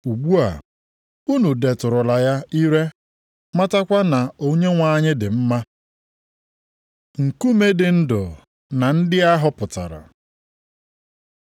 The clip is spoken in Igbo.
Ugbu a, unu detụrụla ya ire matakwa na Onyenwe anyị dị mma. Nkume dị ndụ na ndị a họpụtara